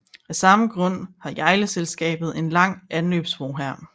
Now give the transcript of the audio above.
Af samme grund har Hjejleselskabet en lang anløbsbro her